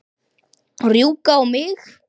Rjúka á mig?